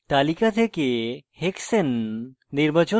তালিকা থেকে hexane নির্বাচন করুন